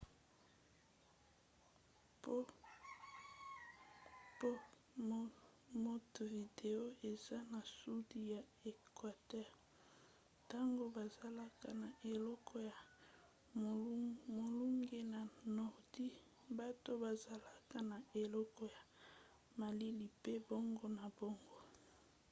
mpo montevideo eza na sudi ya equateur ntango bazalaka na eloko ya molunge na nordi bato bazalaka na eleko ya malili pe bongo na bongo